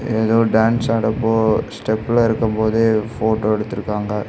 ஏதோ டான்ஸ் ஆடப்போ ஸ்டெப்ல இருக்கும் போது போட்டோ எடுத்துருக்காங்க.